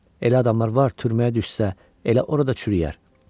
Elə adamlar var, türməyə düşsə, elə orada çürüyər.